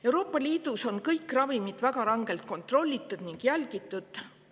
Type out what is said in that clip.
Euroopa Liidus on kõik ravimid väga rangelt kontrollitud ning jälgitud.